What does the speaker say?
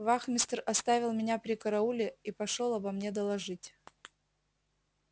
вахмистр оставил меня при карауле и пошёл обо мне доложить